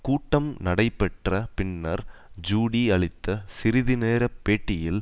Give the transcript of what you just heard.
கூட்டம் நடைபெற்ற பின்னர் ஜூடி அளித்த சிறிது நேர பேட்டியில்